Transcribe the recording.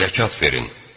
Zəkat verin!